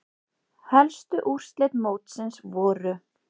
Helstu úrslit mótsins voru